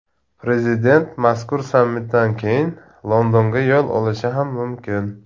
Prezident mazkur sammitdan keyin Londonga yo‘l olishi ham mumkin.